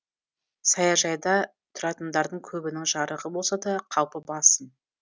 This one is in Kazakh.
саяжайда тұратындардың көбінің жарығы болса да қаупі басым